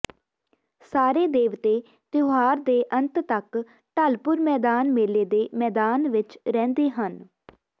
ਸਾਰੇ ਦੇਵਤੇ ਤਿਓਹਾਰ ਦੇ ਅੰਤ ਤਕ ਢਲਪੁਰ ਮੈਦਾਨ ਮੇਲੇ ਦੇ ਮੈਦਾਨ ਵਿਚ ਰਹਿੰਦੇ ਹਨ